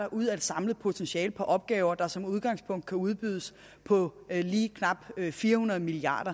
ud af et samlet potentiale på opgaver der som udgangspunkt kan udbydes på lige knap fire hundrede milliard